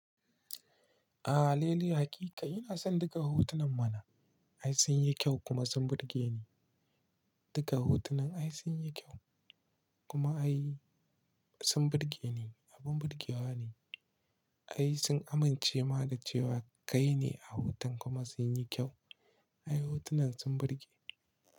Aaa, lili hakika ina son duka hotunan mana. Ai sun yi kyau kuma sun burge ni. Duka hotunan ai sun yi kyau kuma ai sun burge ni. Abin burgewa ne. Ai sun amince ma da cewa kai ne a hoton kuma sun yi kyau. Ai hotunan sun burge.